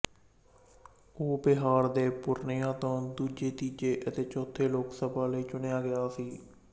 ਉਹ ਬਿਹਾਰ ਦੇ ਪੂਰਨੀਆ ਤੋਂ ਦੂਜੇ ਤੀਜੇ ਅਤੇ ਚੌਥੀ ਲੋਕ ਸਭਾ ਲਈ ਚੁਣਿਆ ਗਿਆ ਸੀ